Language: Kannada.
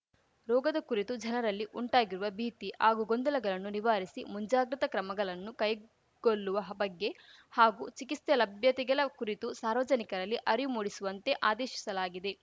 ರೋಗದ ಕುರಿತು ಜನರಲ್ಲಿ ಉಂಟಾಗಿರುವ ಭೀತಿ ಹಾಗೂ ಗೊಂದಲಗಲನ್ನು ನಿವಾರಿಸಿ ಮುಂಜಾಗ್ರತ ಕ್ರಮಗಲನ್ನು ಕೈಗೊಲ್ಲುವ ಬಗ್ಗೆ ಹಾಗೂ ಚಿಕಿಸ್ತೆ ಲಭ್ಯತೆಗಲ ಕುರಿತು ಸಾರ್ವಜನಿಕರಲ್ಲಿ ಅರಿವು ಮೂಡಿಸುವಂತೆ ಆದೇಶಿಸಲಾಗಿದೆ